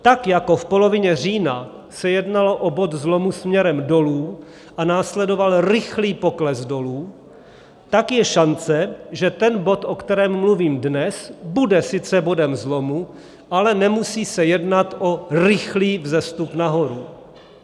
Tak jako v polovině října se jednalo o bod zlomu směrem dolů a následoval rychlý pokles dolů, tak je šance, že ten bod, o kterém mluvím dnes, bude sice bodem zlomu, ale nemusí se jednat o rychlý vzestup nahoru.